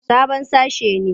Sabon sashe ne.